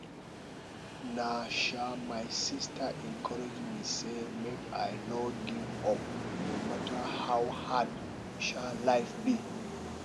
na um my sista encourage me sey make i no give up no matter how hard um life be